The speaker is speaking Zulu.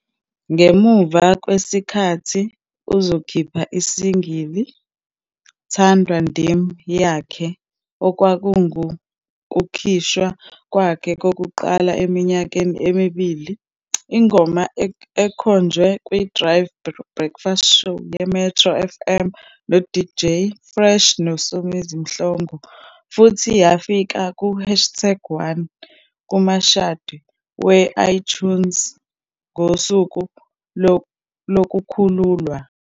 Ngemuva kwesikhathi uzokhipha i-single "Thandwa Ndim" yakhe, okwakungukukhishwa kwakhe kokuqala eminyakeni emibili. Ingoma ekhonjwe kwiDrive Breakfast Show yeMetro FM noDJ Fresh noSomizi Mhlongo futhi yafika ku-hastag 1 kumashadi we-iTunes ngosuku lokukhululwa.